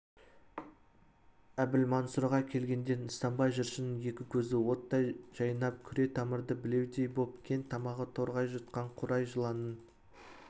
әбілмансұрға келгенде нысанбай жыршының екі көзі оттай жайнап күре тамыры білеудей боп кең тамағы торғай жұтқан қурай жыланның